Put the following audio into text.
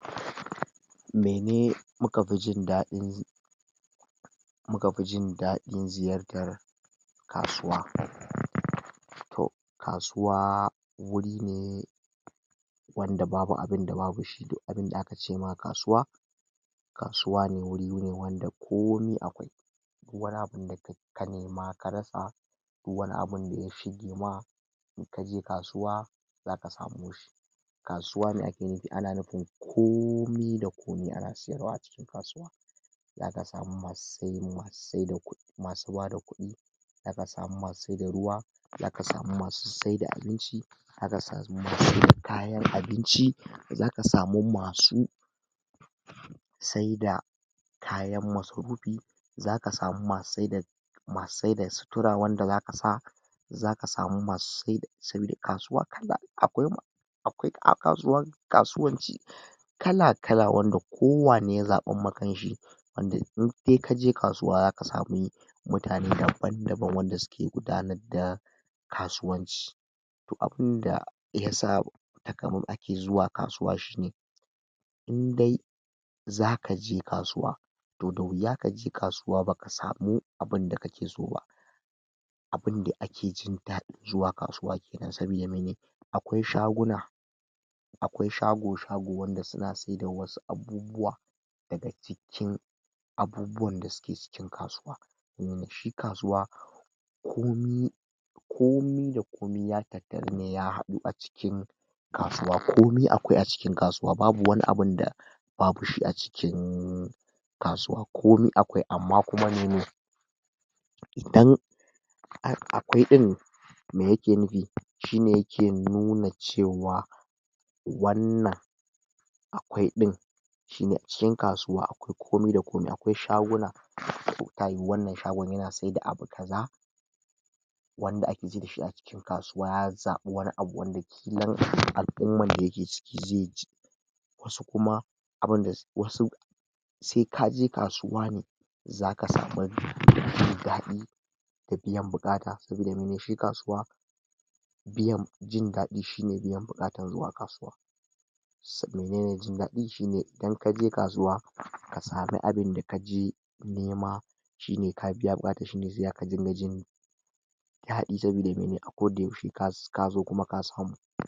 Mene muka pi jindaɗin. muka pi jindaɗin ziyartar kasuwa. Toh kasuwa wuri ne wanda babu abinda babu shi, duk abinda aka ce ma kasuwa. kasuwa ne wuri ne wanda komi akwai duk wani abinda ka nema ka rasa duk wani abinda ya shige ma in kaje kasuwa zaka samu shi. Kasuwa me ake nipi, ana nipin komi da komi ana siyarwa a cikin kasuwa zaka samu masu saida kuɗi.[um] bada kuɗi, zaka samu masu sai da ruwa, zaka samu masu sai da abinci, zaka samu masu sai da kayan abinci, zaka samu masu sai da kayan masrupi zaka samu masu sai da masu sai da sutura wanda zaka sa zaka samu masu sai da, sabida kasuwa kala akwai ma akwai a um kasuwanci kala-kala wanda kowane ya zaɓan ma kanshi wanda indai kaje kasuwa zaka sami mutane daban-daban wanda suke gudanar da kasuwanci. Toh abinda yasa um ake zuwa kasuwa shine in dai zakaje kasuwa toh da wuya kaje kasuwa baka samu abinda kake so ba abinda ake jin dadin zuwa kasuwa kenana sabida mene akwai shaguna akwai shago shago wanda suna sai da wasu abubuwa daga cikin abubuwan da suke cikin kasuwa um shi kasuwa komi komi da komi ya tattarune ya haɗu a cikin kasuwa komi akwai a cikin kasuwa babu wani abunda babu shi a cikin kasuwa komi akwai amma kuma mene, idan um akwai ɗin me yake nupi? shine yake nuna cewa wannan akwai ɗin shine a cikin kasuwa akwai komi da komi akwai shaguna um ta yiwu wannan shagon yana saida abu kaza wanda ake ji dashi a cikin kasuwa ya zaɓi wani abu wanda ƙilan al'umman da yake ciki ze je asu kuma abunda wasu se kaje kasuwa ne zaka sami um mai daɗi da biyan buƙata sabida mene? shi kasuwa biyan biyan jindaɗi shine biyan buƙatan zuwa kasuwa sabida menene jindaɗi shine idan kaje kasuwa ka sami abinda kaje nema shine ka biya buƙata shine se zaka dinga jin daɗi sabida mene? a koda yaushe ka ka za kuma ka samu.